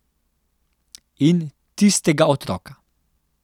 In tistega otroka.